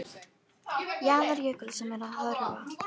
Jaðar jökuls sem er að hörfa.